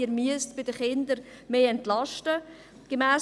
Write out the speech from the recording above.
Sie müssen bei den Kindern eine stärkere Entlastung geben.